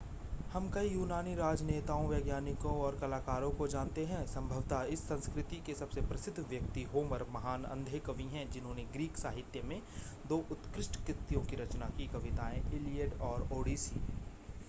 हम कई यूनानी राजनेताओं वैज्ञानिकों और कलाकारों को जानते हैं संभवतः इस संस्कृति के सबसे प्रसिद्ध व्यक्ति होमर महान अंधे कवि हैं जिन्होंने ग्रीक साहित्य में दो उत्कृष्ट कृतियों की रचना की कविताएं इलियड और ओडिसी